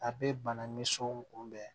A bɛ bana ni so kunbɛn